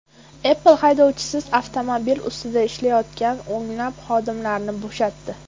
Apple haydovchisiz avtomobil ustida ishlayotgan o‘nlab xodimlarni bo‘shatdi.